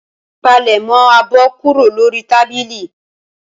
Palẹ̀mọ́ abọ́ kúrò lórí tábìlì.